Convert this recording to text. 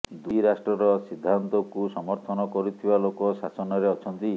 ଦୁଇ ରାଷ୍ଟ୍ରର ସିନ୍ଧାନ୍ତକୁ ସମର୍ଥନ କରୁଥିବା ଲୋକ ଶାସନରେ ଅଛନ୍ତି